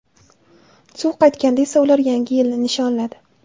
Suv qaytganda esa ular Yangi yilni nishonladi.